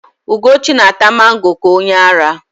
Ugochi na-ata mango ka onyeara.